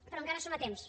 però encara hi som a temps